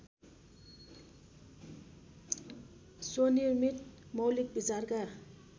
स्वनिर्मित मौलिक विचारका